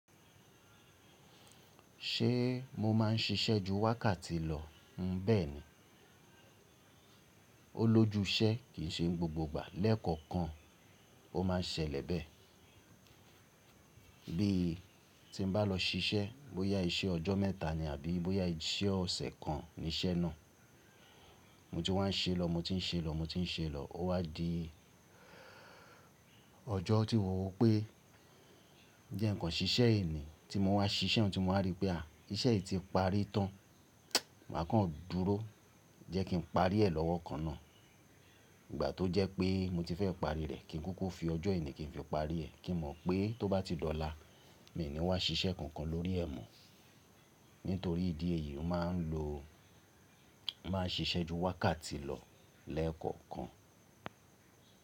Ṣé mo má ń ṣiṣẹ́ ju wákàtì lọ? N bẹ́ẹ̀ni. Ó lójú iṣẹ́ kìí ṣe gbogbo ìgbà lẹ́ẹ̀kọ̀kan ó ma ń ṣẹlẹ̀ bẹ́ẹ̀. Bí ti n bá lọ ṣiṣẹ́, bóyá iṣẹ́ ọjọ́ mẹ́ta ni àbí bóyá iṣẹ́ ọ̀sẹ̀ kan ni iṣẹ́ náà. Mo ti wá ń ṣe lọ, mo ti ń ṣe lọ, mo ti ń ṣe lọ, ó wá di ọjọ́ tí mo wò rípé, jẹ́ ǹkan ṣíṣẹ́ èyí ni tí mo wá ṣíṣe, ti mo wá ríi pé, àá iṣẹ́ yìí ti parí tán, mà kan dúró jẹ́ kí n parí rẹ̀ lọ́wọ́ kan náà. Ìgbà tó jẹ́ pé mo ti fẹ́ parí rẹ̀, kí n kúkú fi ọjọ́ ìní kí n fi parí rẹ̀, kí n mọ̀ pé tó bá ti lọ lá, mi ò ní wá ṣiṣẹ́ kankan lórí ẹ̀ mú. Nítorí ìdí èyí, mo má n lo, má n ṣiṣẹ́ ju wákàtì lọ lẹ́ẹ̀kọ̀kan.